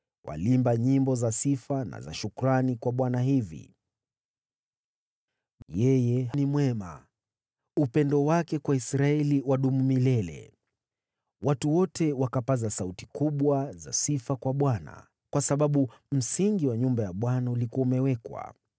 Waliimba nyimbo za sifa na za shukrani kwa Bwana hivi: “Yeye ni mwema; upendo wake kwa Israeli wadumu milele.” Watu wote wakapaza sauti kubwa za sifa kwa Bwana , kwa sababu msingi wa nyumba ya Bwana ulikuwa umewekwa.